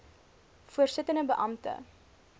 voorsittende beampte d